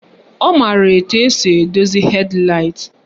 Ọ maara etu esi edozi hed laịt